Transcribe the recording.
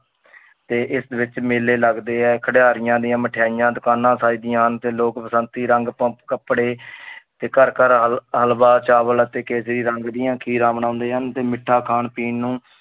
ਤੇ ਇਸ ਵਿੱਚ ਮੇਲੇ ਲਗਦੇ ਹੈ, ਖਿਡਾਰੀਆਂ ਦੀਆਂ ਮਠਿਆਈਆਂ ਦੁਕਾਨਾਂ ਸਜਦੀਆਂ ਹਨ ਤੇ ਲੋਕ ਬਸੰਤੀ ਰੰਗ ਪਾ~ ਕੱਪੜੇ ਤੇ ਘਰ ਘਰ ਹਲ~ ਹਲਵਾ, ਚਾਵਲ ਅਤੇ ਕੇਸਰੀ ਰੰਗ ਦੀਆਂ ਖੀਰਾਂ ਬਣਾਉਂਦੇ ਹਨ ਤੇ ਮਿੱਠਾ ਖਾਣ ਪੀਣ ਨੂੰ